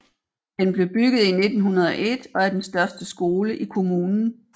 Den blev bygget i 1901 og er den største skole i kommunen